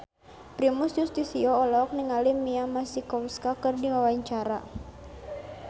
Primus Yustisio olohok ningali Mia Masikowska keur diwawancara